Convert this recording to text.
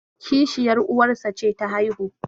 kishiyar uwarsa ce ta haihu